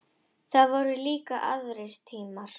Það voru líka aðrir tímar.